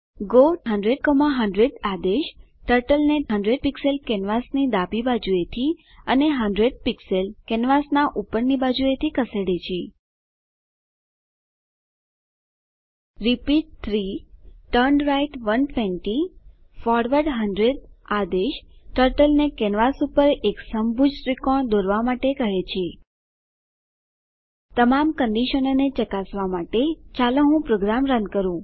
go 100100 આદેશ ટર્ટલને 100 pixel કેનવાસની ડાબી બાજુથી અને 100 પીક્ષલ કેનવાસનાં ઉપરની બાજુથી ખસેડે છે રિપીટ 3turnright 120 ફોરવર્ડ 100 આદેશ ટર્ટલને કેનવાસ પર એક સમભુજ ત્રિકોણ દોરવા માટે કહે છે તમામ કંડીશનોને ચકાસવા માટે ચાલો હું પ્રોગ્રામ રન કરું